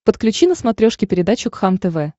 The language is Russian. подключи на смотрешке передачу кхлм тв